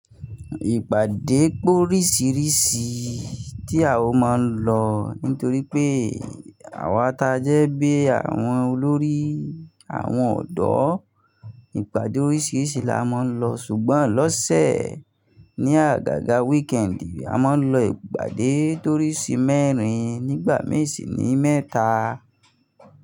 Ìpàdé pé oríṣìíríṣìí tí a ó máa ń lọ nítorí pé àwa tajẹ́ bí àwọn olórí àwọn ọ̀dọ́. Ìpàdé oríṣìíríṣìí la máa ń lọ ṣùgbọ́n lọ́sẹ̀ ní àgàgà wíkẹ́ẹ̀ndì, a máa ń lọ ìpàdé torísì mẹ́rin nígbà misì ní mẹ́ta.